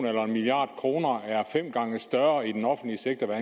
eller en milliard kroner er fem gange større i den offentlige sektor